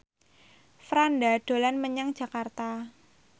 Franda dolan menyang Jakarta